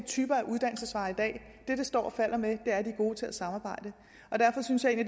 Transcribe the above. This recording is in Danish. typer af uddannelsesveje i dag det det står og falder med er at de er gode til at samarbejde derfor synes jeg at